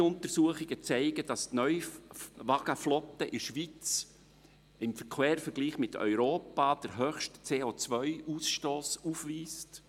Neue Untersuchungen zeigen, dass die Neuwagenflotte in der Schweiz im Quervergleich mit Europa den höchsten CO-Ausstoss aufweist.